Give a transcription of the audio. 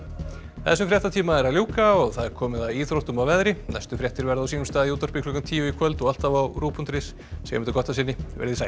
þessum fréttatíma er að ljúka og það er komið að íþróttum og veðri næstu fréttir verða á sínum stað í útvarpi klukkan tíu í kvöld og alltaf á rúv punktur is segjum þetta gott að sinni veriði sæl